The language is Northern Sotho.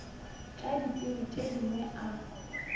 tša ditsebi tše dingwe a